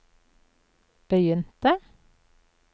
begynte